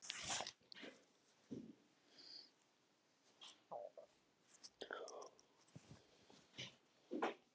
Ég mæli með því að byrja hjá heimilislækni.